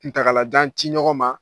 N tagalajan ci ɲɔgɔn ma.